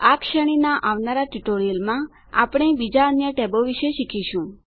આ શ્રેણીનાં આવનારા ટ્યુટોરીયલોમાં આપણે બીજાં અન્ય ટેબો વિશે શીખીશું